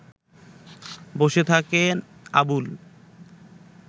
বসে থাকেন আবুল